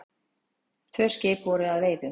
Tvö skip voru að veiðum.